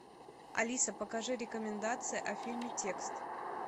алиса покажи рекомендации о фильме текст